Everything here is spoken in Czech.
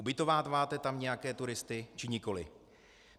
Ubytováváte tam nějaké turisty, či nikoliv?